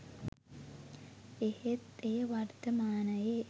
එහෙත් එය වර්තමානයේ